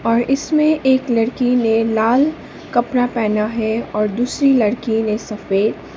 और इसमें एक लड़की ने लाल कपड़ा पहना है और दूसरी लड़की ने सफेद।